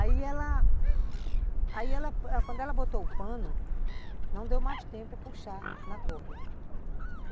Aí ela... Aí ela... Quando ela botou o pano, não deu mais tempo puxar na corda.